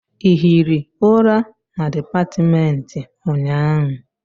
Ị hiri ụra na dipatịmentị ụnyaahụ?